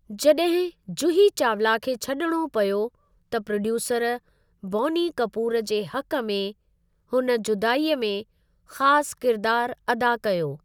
जॾहिं जूही चावला खे छॾिणो पियो त प्रोड्यूसर बौनी कपूर जे हक़ में हुन जुदाई में ख़ासि किरिदारु अदा कयो।